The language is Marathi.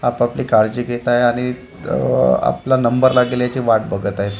आपपली काळजी घेत आहे आणि आह आपला नंबर लागेल याची वाट बघत आहेत खू --